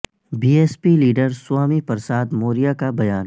be S P leader Swami Prasad Maurya کا بیان